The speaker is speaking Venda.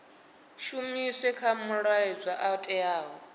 shumiswe kha malwadzwe o teaho